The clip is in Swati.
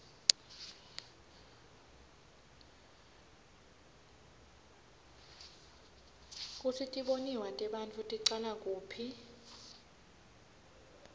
kutsi tibonao tebantfu ticala kuphi